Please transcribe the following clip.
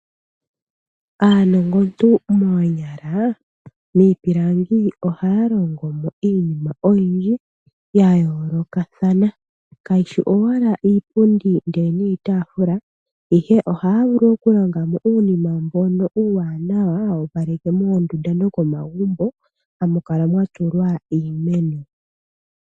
Aanongontu moonyala, miipilangi ohaya longomo iinima oyindji ya yoolokathana, kayishi owala iipundi niitafula ihe ohaya vulu okulonga mo uunima mbono uuwanawa, hawu opaleke moondundu nomomagumbo hamu kala mwa tulwa uumeno.